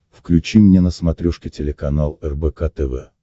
включи мне на смотрешке телеканал рбк тв